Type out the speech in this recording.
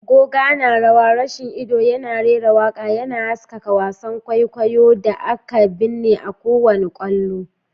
Goga na rawa, gashin ido yana rera waƙa, yana haskaka wasan kwaikwayo da aka binne a kowane kallo.